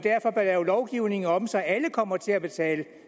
lave lovgivningen om så alle kommer til at betale